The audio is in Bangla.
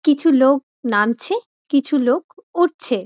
কিছু লোক নামছে। কিছু লোক উঠছে ।